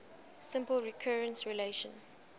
simple recurrence relation